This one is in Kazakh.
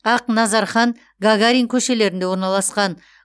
ақназархан гагарин көшелерінде орналасқан